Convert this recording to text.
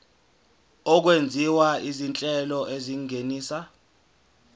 okwenziwa izinhlelo ezingenisa